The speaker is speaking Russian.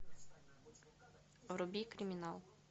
вруби криминал